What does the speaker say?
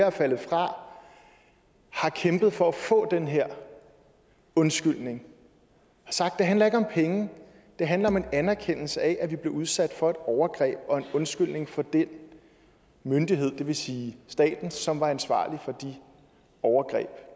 af faldet fra har kæmpet for at få den her undskyldning det handler ikke om penge det handler om en anerkendelse af at de blev udsat for et overgreb og undskyldning fra den myndighed det vil sige staten som var ansvarlig for de overgreb